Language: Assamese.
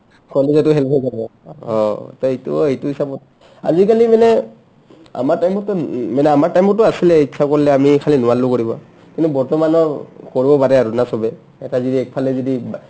কলেজতো help হৈ যাব অ অ to এইটোও এটো হিচাপত আজিকালি মানে আমাৰ time তটো মানে আমাৰ time তটো আছিলে ইতচ্ছা কৰলে আমি খালী নোৱাৰলো কৰিব কিন্তু বৰ্তমানৌ কৰিব পাৰে না আৰু চবে এটা যদি একফালে যদি বা